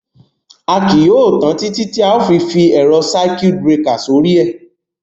À kíí yóò tan àn títí tí à fí fi èrọ́ ṣakíutì brekà sọ̀rí è.